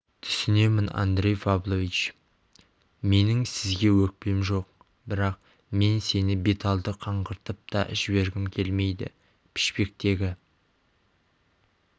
түсінемін андрей павлович менің сізге өкпем жоқ бірақ мен сені беталды қаңғыртып та жібергім келмейді пішпектегі